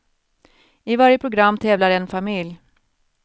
I varje program tävlar en familj.